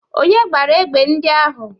Onye gbara egbe ndị ahụ?